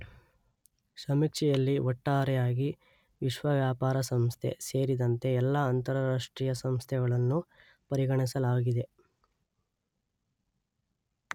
ಸಮೀಕ್ಷೆಯಲ್ಲಿ ಒಟ್ಟಾರೆಯಾಗಿ ವಿಶ್ವ ವ್ಯಾಪಾರ ಸಂಸ್ಥೆ ಸೇರಿದಂತೆ ಎಲ್ಲ ಅಂತರರಾಷ್ಟ್ರೀಯ ಸಂಸ್ಥೆಗಳನ್ನು ಪರಿಗಣಿಸಲಾಗಿದೆ.